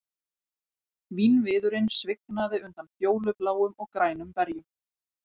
Vínviðurinn svignaði undan fjólubláum og grænum berjum